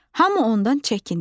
Hamı ondan çəkinir.